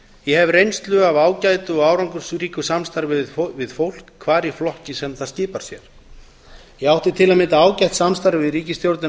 ég hef reynslu af ágætu og árangursríku samstarfi við fólk hvar í flokk sem það skipar sér ég átti til að mynda ágætt samstarf við ríkisstjórnina